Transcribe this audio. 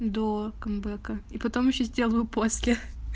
до камбэка и потом ещё сделаю после